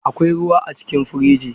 Akwai ruwa a cikin firiji?